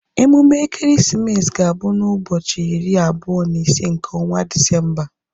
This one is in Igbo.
Emume ekeresimesi ga-abụ na ụbọchị iri abụọ na ise nke ọnwa Disemba